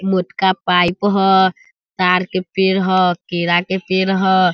मोटका पाइप ह ताड़ के पेड़ ह केला के पेड़ ह।